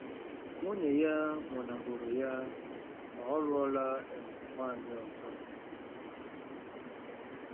Nwunye ya nwụnahụrụ ya ma ọ lụọla um nwaanyị ọzọ.